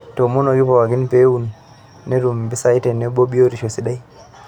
Eitoomonoki pookin pee ewun netum mpisai tenebo biotisho sidai.